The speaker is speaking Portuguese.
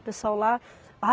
O pessoal lá.